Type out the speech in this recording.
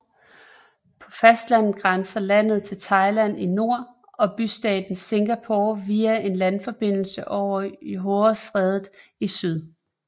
På fastlandet grænser landet til Thailand i nord og bystaten Singapore via en landforbindelse over Johorestrædet i syd